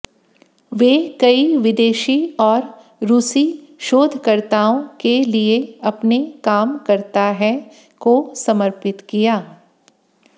वे कई विदेशी और रूसी शोधकर्ताओं के लिए अपने काम करता है को समर्पित किया